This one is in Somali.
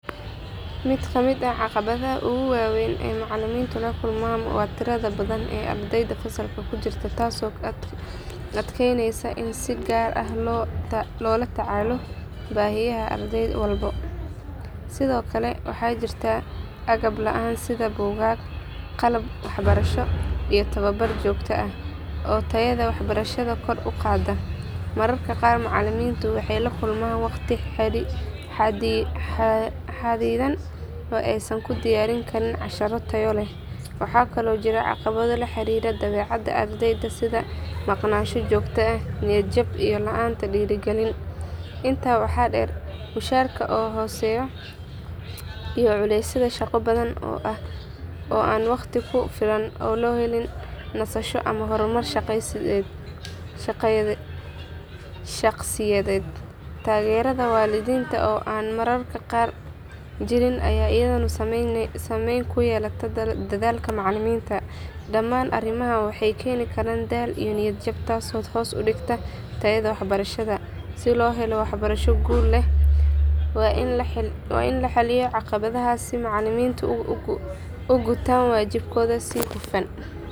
Mid kamid ah caqabadaha ugu waa weyn ee macalimiintu la kulmaan waa tirada badan ee ardayda fasalka ku jirta taasoo adkeynaysa in si gaar ah loo la tacaalo baahiyaha arday walba. Sidoo kale waxaa jirta agab la'aan sida buugaag, qalab waxbarasho iyo tababar joogto ah oo tayada waxbarashada kor u qaada. Mararka qaar macalimiintu waxay la kulmaan waqti xadidan oo aysan ku diyaarin karin casharro tayo leh. Waxaa kaloo jira caqabado la xiriira dabeecadda ardayda sida maqnaansho joogto ah, niyad jab iyo la'aanta dhiirigelin. Intaa waxaa dheer mushaarka oo hooseeya iyo culeysyada shaqo badan oo aan waqti ku filan loo helin nasasho ama horumar shaqsiyadeed. Taageerada waalidiinta oo aan mararka qaar jirin ayaa iyaduna saameyn ku yeelata dadaalka macalinka. Dhammaan arrimahan waxay keeni karaan daal iyo niyad jab taasoo hoos u dhigta tayada waxbarashada. Si loo helo waxbarasho guul leh waa in la xalliyo caqabadahaas si macalimiintu u gutaan waajibaadkooda si hufan.